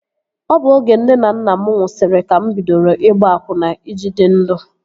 Ọ bụ oge nne na nna mụ nwụsịrị ka mụ bidoro ịgba akwụna I ji dị ndụ